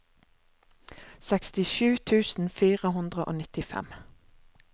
sekstisju tusen fire hundre og nittifem